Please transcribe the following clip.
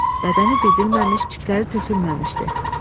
Bədəni didilməmiş, tükləri tökülməmişdi.